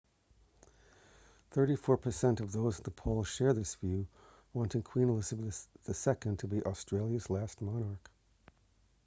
34 per cent of those in the poll share this view wanting queen elizabeth ii to be australia's last monarch